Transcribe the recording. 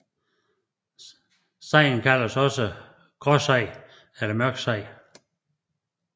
Sejen kaldes også gråsej eller mørksej